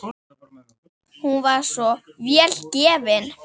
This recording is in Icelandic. Hún var svo vel gefin.